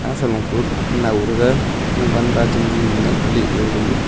san kuh nao taga jovanpa cham man nape le taga aga ma.